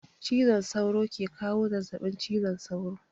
Cizon sauro ke kawo zazzabin cizon sauro